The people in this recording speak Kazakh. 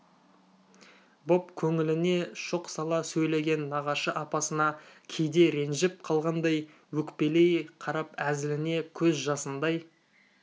боп көңіліне шоқ сала сөйлеген нағашы апасына кейде ренжіп қалғандай өкпелей қарап әзіліне көз жасындай